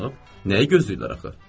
Nəyi gözləyirlər axı?